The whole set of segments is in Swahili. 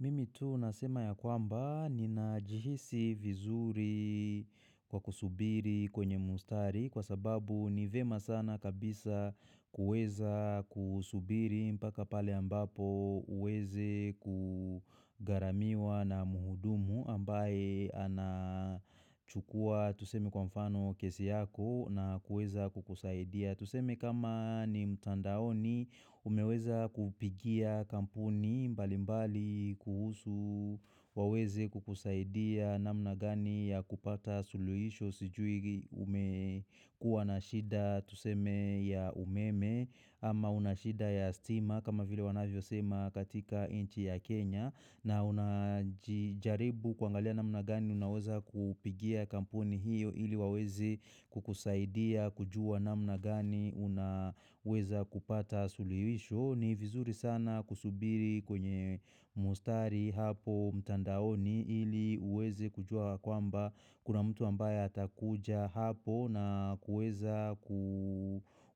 Mimi tu nasema ya kwamba ni najihisi vizuri kwa kusubiri kwenye mustari kwa sababu ni vyema sana kabisa kueza kusubiri mpaka pale ambapo uweze kugharamiwa na muhudumu ambaye anachukua tuseme kwa mfano kesi yako na kueza kukusaidia. Tuseme kama ni mtandaoni umeweza kupigia kampuni mbali mbali kuhusu waweze kukusaidia namna gani ya kupata suluhisho sijui umekuwa na shida tuseme ya umeme ama unashida ya stima kama vile wanavyo sema katika inchi ya Kenya. Na unajaribu kwangalia na mnagani unaweza kupigia kampuni hiyo ili waweze kukusaidia kujua namnagani unaweza kupata suluhisho. Ni vizuri sana kusubiri kwenye mustari hapo mtandaoni ili uweze kujua kwamba kuna mtu ambaye hatakuja hapo na kuweza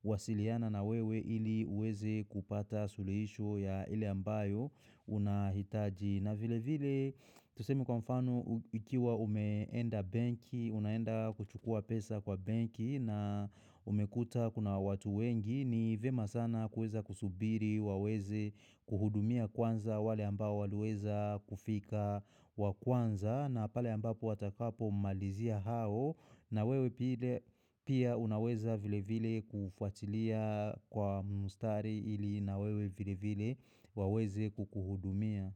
kuwasiliana na wewe ili uweze kupata suluhisho ya ili ambayo. Una hitaji na vile vile tusemiekwa mfano ukiwa umeenda benki Unaenda kuchukua pesa kwa banki na umekuta kuna watu wengi ni vema sana kueza kusubiri waweze kuhudumia kwanza wale ambao waleweza kufika wa kwanza na pale ambapo watakapo malizia hao na wewe pia unaweza vile vile kufuatilia kwa mustari ili nawewe vile vile waweze kukuhudumia.